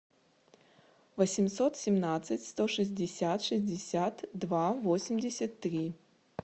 восемьсот семнадцать сто шестьдесят шестьдесят два восемьдесят три